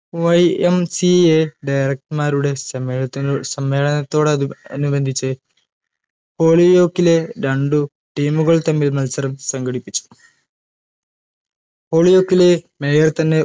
YMCAdirector മാരുടെ സമ്മേളനത്തിനോ സമ്മേളനത്തോടതു അനുബന്ധിച്ച് ഹോളിയോക്കിലെ രണ്ടു team കൾ തമ്മിൽ മത്സരം സംഘടിപ്പിച്ചു ഹോളിയോക്കിലെ mayor തന്നെ